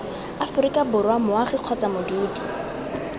aforika borwa moagi kgotsa modudi